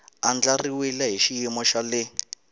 andlariwile hi xiyimo xa le